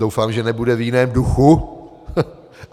Doufám, že nebude v jiném duchu.